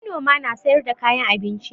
Manoma na sayar da kayan abinci